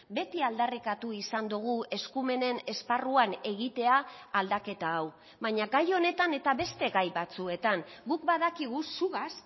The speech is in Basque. beti aldarrikatu izan dugu eskumenen esparruan egitea aldaketa hau baina gai honetan eta beste gai batzuetan guk badakigu zugaz